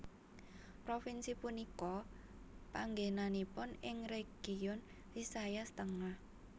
Provinsi punika panggènanipun ing Region Visayas Tengah